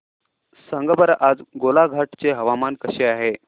सांगा बरं आज गोलाघाट चे हवामान कसे आहे